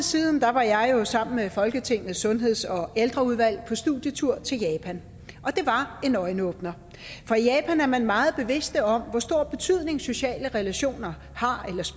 siden var jeg jo sammen med folketingets sundheds og ældreudvalg på studietur til japan og det var en øjenåbner for i japan er man meget bevidst om hvor stor betydning sociale relationer har